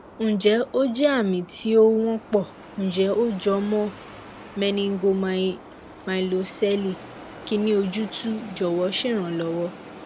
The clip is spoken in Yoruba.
ǹjẹ́ ó jẹ́ ami tí ó wọ́pọ̀ ǹjẹ́ ó jọ mọ́ meningomyelocele kini ojútùú jọ̀wọ́ ṣèrànlọ́wọ́